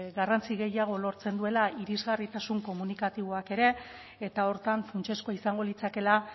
garrantzi gehiago lortzen dela irisgarritasun komunikatiboak ere eta horretan funtsezkoa izango litzakeela